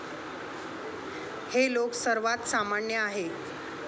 हे लोक सर्वात सामान्य आहे.